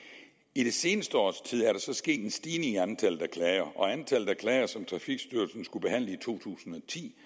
i det seneste års tid er der så sket en stigning i antallet af klager og antallet af klager som trafikstyrelsen skulle behandle i to tusind og ti